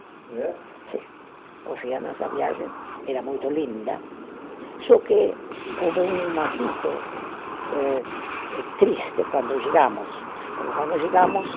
É? Sim. Ou seja, nossa viagem era muito linda, só que houve um assunto eh, eh triste quando chegamos, porque quando chegamos